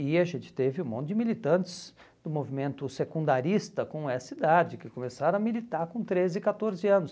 E a gente teve um monte de militantes do movimento secundarista com essa idade, que começaram a militar com treze, catorze anos.